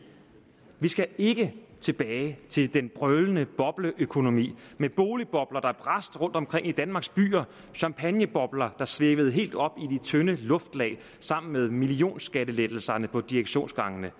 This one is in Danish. vi skal ikke tilbage til den brølende bobleøkonomi med boligbobler der brast rundtomkring i danmarks byer champagnebobler der svævede helt op i tynde luftlag sammen med millionskattelettelserne på direktionsgangene